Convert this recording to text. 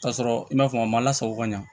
K'a sɔrɔ i ma sɔn a ma lasago ka ɲa